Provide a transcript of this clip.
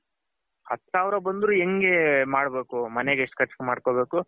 ಹತ್ತು ಸಾವಿರ ಬಂದ್ರೆ ಹೆಂಗೆ ಮಾಡ್ಬೇಕು ಮನೆಗೆ ಎಷ್ಟು ಕರ್ಚ್ ಮಾಡ್ಕೊಬೇಕು